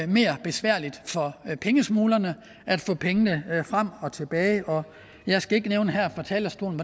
mere besværligt for pengesmuglerne at få pengene frem og tilbage jeg skal ikke her fra talerstolen